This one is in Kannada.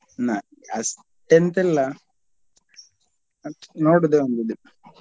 ನಂಗೆ ಅಷ್ಟ್ ಎಂತ್ ಇಲ್ಲ but ನೋಡುದೆ ಒಂದ್ ಇದು.